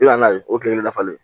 I bɛna ye o tile kelen dafalen